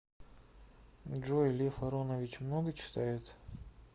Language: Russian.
джой лев аронович много читает